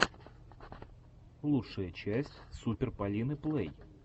лучшая часть супер полины плэй